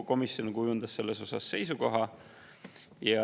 Komisjon kujundas selles osas seisukoha.